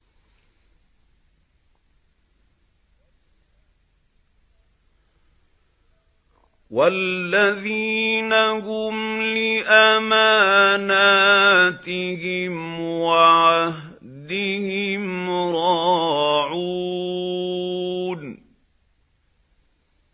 وَالَّذِينَ هُمْ لِأَمَانَاتِهِمْ وَعَهْدِهِمْ رَاعُونَ